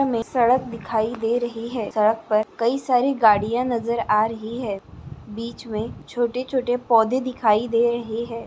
मे सड़क दिखाई दे रही है सड़क पर कई सारी गड़िया नजर आ रही है बीच मे छोटे-छोटे पौधे दिखाई दे रहे है।